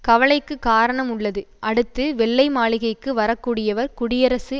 கவலைக்கு காரணம் உள்ளது அடுத்து வெள்ளை மாளிகைக்கு வரக்கூடியவர் குடியரசு